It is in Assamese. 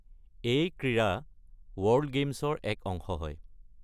এই ক্ৰীড়া ৱৰ্ল্ড গেমছৰ এক অংশ।